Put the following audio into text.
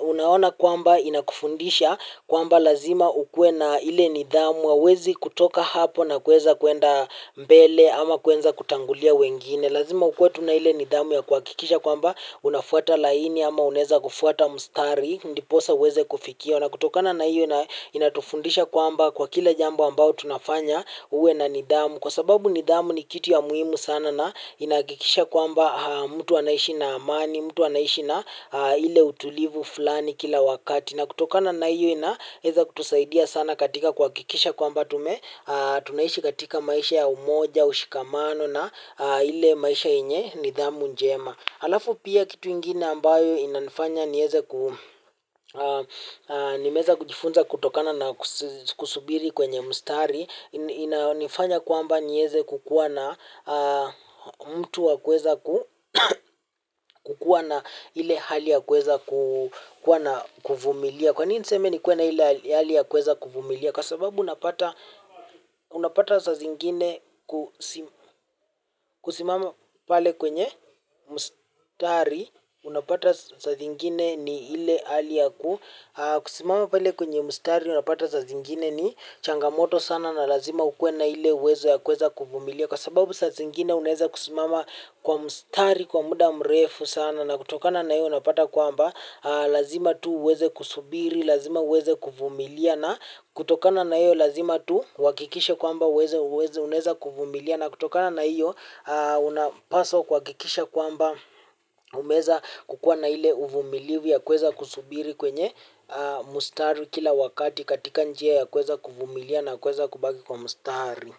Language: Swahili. Unaona kwamba inakufundisha kwamba lazima ukuwe na ile nidhamu ya huwezi kutoka hapo na kuweza kwenda mbele ama kuanza kutangulia wengine. Lazima tukuwe tuna ile nidhamu ya kuhakikisha kwamba unafwata laini ama unaweza kufwata mstari ndiposa uweze kufikiwa na kutokana na hio inatufundisha kwamba kwa kila jambo ambalo tunafanya uwe na nidhamu. Kwa sababu nidhamu ni kitu ya muhimu sana na inahakikisha kwamba mtu anaishi na amani, mtu anaishi na ile utulivu fulani kila wakati. Na kutokana na hio inaweza kutusaidia sana katika kuhakikisha kwamba tunaishi katika maisha ya umoja, ushikamano na ile maisha yenye nidhamu njema. Halafu pia kitu ingine ambayo inanifanya nimeweza kujifunza kutokana na kusubiri kwenye mstari, inanifanya kwamba niweze kukuwa na mtu wa kuweza kukuwa na ile hali ya kuweza kuvumilia. Kwa nini niseme nikuwe na hile hali ya kuweza kuvumilia? Kwa sababu unapata saa zingine kusimama pale kwenye mstari, unapata saa zingine ni ile hali ya ku. Kusimama pale kwenye mstari, unapata saa zingine ni changamoto sana na lazima ukuwe na ile uwezo ya kuweza kuvumilia. Kwa sababu saa zingine unaeza kusimama kwa mstari, kwa muda mrefu sana na kutokana na hiyo unapata kwamba. Lazima tu uweze kusubiri, lazima uweze kuvumilia. Na kutokana na iyo lazima tu uhakikishe kwamba unaeza kuvumilia. Na kutokana na iyo unapaswa kuhakikisha kwamba umeeza kukuwa na ile uvumilivu ya kuweza kusubiri kwenye mstari kila wakati. Katika njia ya kuweza kuvumilia na kuweza kubaki kwa mstari.